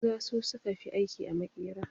Maza su suka fi aiki a makera